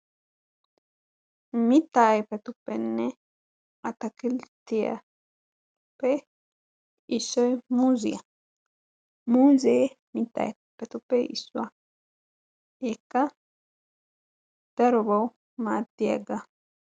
Mittaa ayipetuppenne ataakiltiyaappe issoy muuziya. Muuze mitta ayifetuppe issuwa. Hegeekka darobawu maaddiyaagaa.